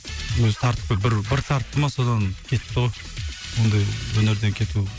өзі тартып бір бір тартты ма содан кетті ғой ондай өнерден кету